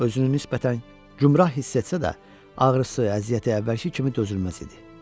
Özünü nisbətən gümrah hiss etsə də ağrısı, əziyyəti əvvəlki kimi dözülməz idi.